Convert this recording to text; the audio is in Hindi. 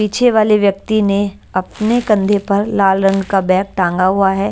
पीछे वाले व्यक्ति ने अपने कंधे पर लाल रंग का बैग टांगा हुआ है।